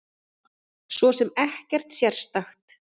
Svo sem ekkert sérstakt.